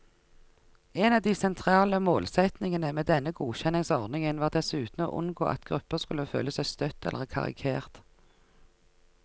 En av de sentrale målsetningene med denne godkjenningsordningen var dessuten å unngå at grupper skulle føle seg støtt eller karikert.